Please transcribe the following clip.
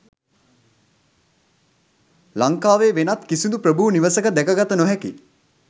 ලංකාවේ වෙනත් කිසිදු ප්‍රභූ නිවසක දැක ගත නොහැකි